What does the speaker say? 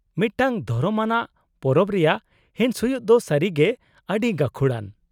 -ᱢᱤᱫᱴᱟᱝ ᱫᱷᱚᱨᱚᱢ ᱟᱱᱟᱜ ᱯᱚᱨᱚᱵᱽ ᱨᱮᱭᱟᱜ ᱦᱤᱸᱥ ᱦᱩᱭᱩᱜ ᱫᱚ ᱥᱟᱹᱨᱤᱜᱮ ᱟᱹᱰᱤ ᱜᱟᱹᱠᱷᱩᱲᱟᱱ ᱾